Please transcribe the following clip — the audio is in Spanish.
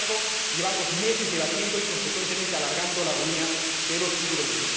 Sin embargo, llevamos meses debatiendo y, consecuentemente, alargando la agonía de los tiburones.